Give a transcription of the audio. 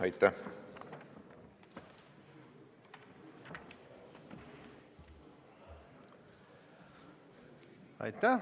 Aitäh!